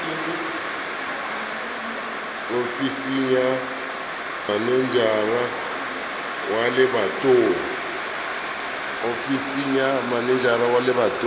ofising ya manejara wa lebatowa